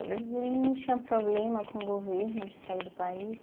E ele não tinha problema com o governo de sair do país?